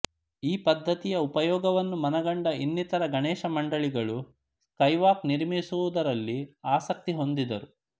ಈ ಪದ್ಧತಿಯ ಉಪಯೋಗವನ್ನು ಮನಗಂಡ ಇನ್ನಿತರ ಗಣೇಶ ಮಂಡಲಿಗಳೂ ಸ್ಕೈವಾಕ್ ನಿರ್ಮಿಸುವುದರಲ್ಲಿ ಆಸಕ್ತಿಹೊಂದಿದರು